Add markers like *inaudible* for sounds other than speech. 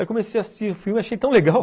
Aí comecei a assistir o filme e achei tão legal *laughs*